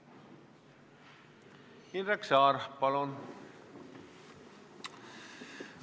Indrek Saar, palun!